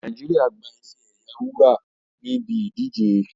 Naijiria gba ife ẹ̀yẹ wúrà ní ibi ìdíje